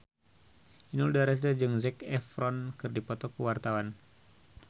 Inul Daratista jeung Zac Efron keur dipoto ku wartawan